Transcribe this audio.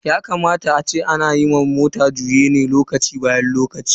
Yakamata ana wa mota juyen mai lokaci zuwa lokaci.